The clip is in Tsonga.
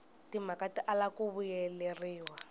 timhaka ti tala ku vuyeleriwa